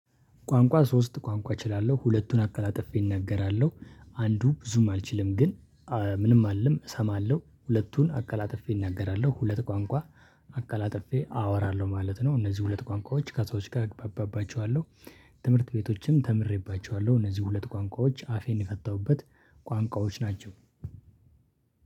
ቋንቋ ሶስት ቋንቋ እችላለሁ ሁለቱን አቀላጭፌ እናገራለሁ አንዱ ብዙም አልችልም ግን ምንም አልልም እሰማለሁ ሁለቱን አቀላጥፌ እናገራለሁ ሁለት ቋንቋ አቀላጥፌ አወራለሁ ማለት ነው። እነዚህ ሁለት ቋንቋዎች ከሰዎች ጋር እግባባባቸዋለሁ። ትምህርት ቤቶችም ተምሬባቸዋለሁ እነዚህ ሁለት ቋንቋዎች አፌን የፈታሁበት ቋንቋዎች ናቸው።